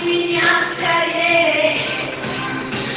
у меня скорее